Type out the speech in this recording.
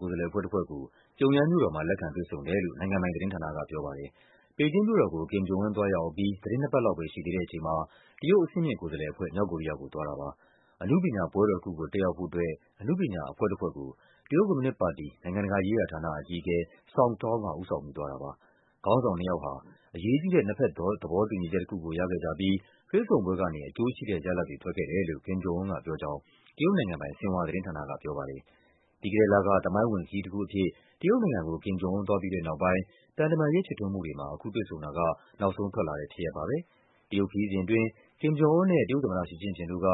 ကိုယ်စားလှယ်အဖွဲ့တဖွဲ့ကို ပြုံယမ်းမြို့တော်မှာ လက်ခံ တွေ့ဆုံတယ်လို့ နိုင်ငံပိုင်သတင်းဌာနက ပြောပါတယ်။ ဘေဂျင်းမြို့တော်ကို Kim Jong Un သွားရောက်အပြီး သီတင်းနှစ်ပတ် လောက်ပဲ ရှိသေးတဲ့အချိန်မှာ တရုတ်အဆင့်မြင့်ကိုယ်စားလှယ်အဖွဲ့ မြောက်ကိုရီးယားကို သွားတာပါ။ အနုပညာပွဲတော်တခုကို တက်ရောက်ဖို့အတွက် အနုပညာအဖွဲ့တဖွဲ့ကို တရုတ်ကွန်မြူနစ်ပါတီ၊ နိုင်ငံတကာရေးရာဌာန အကြီးအကဲ Song Tao က ဦးဆောင်ပြီး သွားတာပါ။ ခေါင်းဆောင်နှစ်ယောက်ဟာ “အရေးကြီးတဲ့ နှစ်ဘက်သဘောတူညီချက်တခုကို ရခဲ့ကြပြီး တွေ့ဆုံပွဲကနေ အကျိုးရှိတဲ့ရလဒ်တွေ ထွက်ခဲ့တယ်” လို့ Kim Jong Un ကပြောကြောင်း တရုတ်နိုင်ငံပိုင် ဆင်ဟွာသတင်းဌာနက ပြောပါတယ်။ ပြီးခဲ့တဲ့လက သမိုင်းဝင်ခရီးတခုအဖြစ် တရုတ်နိုင်ငံကို Kim Jong Un သွားပြီးတဲ့နောက်ပိုင်း သံတမန်ရေးဖြစ်ထွန်းမှုတွေမှာ အခု တွေ့ဆုံတာက နောက်ဆုံးထွက်လာတဲ့ဖြစ်ရပ်ပါပဲ။ တရုတ်ခရီးစဉ်အတွင်း Kim Jong Un နဲ့ တရုတ်သမ္မတ ရှီကျင့်ဖျင်တို့က